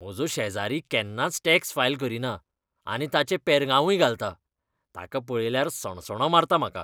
म्हजो शेजारी केन्नाच टॅक्स फायल करीना, आनी ताचें पेरगांवूय घालता . ताका पळयल्यार सणसणो मारता म्हाका.